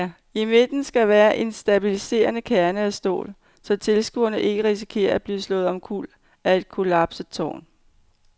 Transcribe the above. I midten skal være en stabiliserende kerne af stål, så tilskuere ikke risikerer at blive slået omkuld af et kollapset tårn.